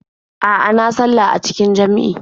A'a, na sallah a cikin jam'i.